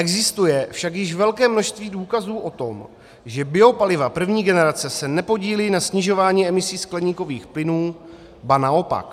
Existuje však již velké množství důkazů o tom, že biopaliva první generace se nepodílí na snižování emisí skleníkových plynů, ba naopak.